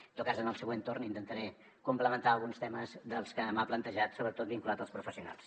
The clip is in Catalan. en tot cas en el següent torn intentaré complementar alguns temes dels que m’ha plantejat sobretot vinculats als professionals